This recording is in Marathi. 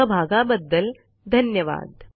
सहभागाबद्दल धन्यवाद